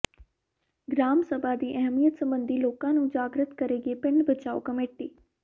gram ਸਭਾ ਦੀ ਅਹਿਮੀਅਤ ਸਬੰਧੀ ਲੋਕਾਂ ਨੂੰ ਜਾਗ੍ਰਿਤ ਕਰੇਗੀ ਪਿੰਡ ਬਚਾਓ ਕਮੇਟੀ